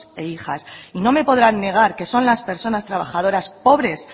e hijas y no me podrán negar que son las personas trabajadoras pobres